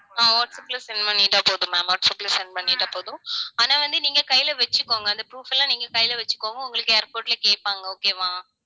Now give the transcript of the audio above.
ஆஹ் வாட்ஸ்ஆப்ல send பண்ணிட்டா போதும் ma'am வாட்ஸ்ஆப்ல send பண்ணிட்டா போதும் ஆனா வந்து, நீங்க கையில வச்சுக்கோங்க. அந்த proof எல்லாம், நீங்க கையில வச்சுக்கோங்க. உங்களுக்கு airport ல கேட்பாங்க. okay வா